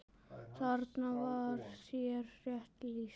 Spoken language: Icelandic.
Þarna var þér rétt lýst.